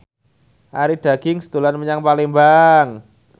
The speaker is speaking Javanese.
Arie Daginks dolan menyang Palembang